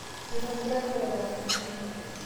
eitobira ilchoreta sukuul